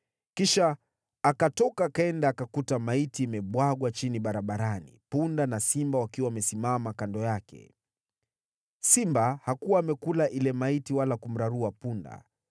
Kisha akatoka akaenda akakuta maiti imebwagwa chini barabarani, punda na simba wakiwa wamesimama kando yake. Simba hakuwa amekula ile maiti wala kumrarua punda.